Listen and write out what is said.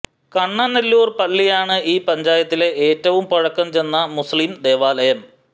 കണ്ണനല്ലൂർ പള്ളിയാണ് ഈ പഞ്ചായത്തിലെ ഏറ്റവും പഴക്കം ചെന്ന മൂസ്ളീം ദേവാലയം